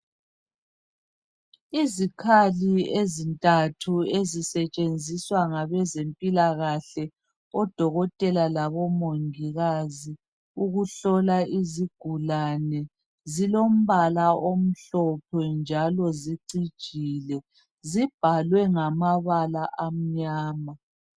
Izikhathi ezintathu ezisetshenziswa ngabezemphilahle, odokotela labomungikazi ukuhlola izigulane, zilombala amhlophe njalo sicijile. Zibhalwe ngamabala amnyama.